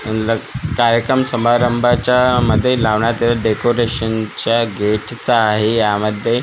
कार्यक्रम समारंभाच्या मध्ये लावण्यात ये डेकोरेशनच्या गेटचा आहे यामध्ये गुला--